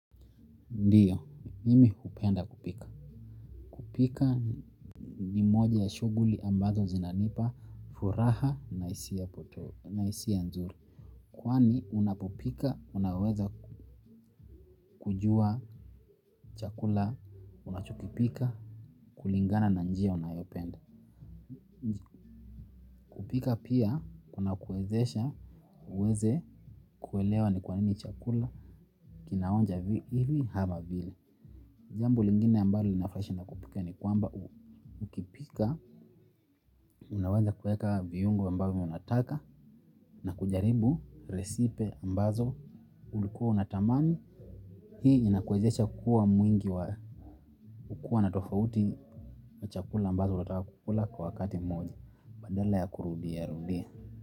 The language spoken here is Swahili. Ndiyo, nimi hupenda kupika. Kupika ni moja ya shuguli ambazo zinanipa, furaha na isi ya nzuri. Kwani unapopika unaweza kujua chakula unachokipika kulingana na njia unayopenda. Kupika pia, unakuwezesha, uweze, kuelewa ni kwanini chakula, kinaonja hivi hama vile. Jambo lingine ambalo inafurahisha na kupika ni kwamba ukipika, unawanza kueka viyungo ambavyo unataka na kujaribu resipe ambazo ulikuwa unatamani. Hii inakwezesha kuwa mwingi wa kuwa natofauti na chakula ambazo watakukula kwa wakati mmoja. Badala ya kurudia rudia.